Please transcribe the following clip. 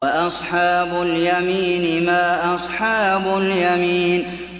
وَأَصْحَابُ الْيَمِينِ مَا أَصْحَابُ الْيَمِينِ